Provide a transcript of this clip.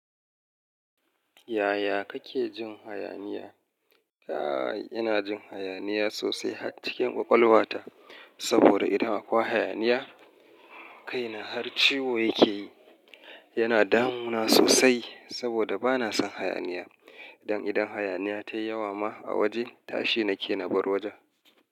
Yaya kake jin hayaniya? Aa ina jin hayaniya sosai har cikin ƙwaƙwalwa ta, saboda idan akwa hayaniya, kaina har ciwo yake yi. Yana damuna sosai saboda bana son hayaniya. Dan idan hayaniya tayi yawa ma a waje, tashi nake na bar wajen.